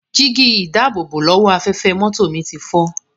Jígí-ìdáàbòbò-lọ́wọ́-afẹ́fẹ́ mọ́tò mi ti fọ́.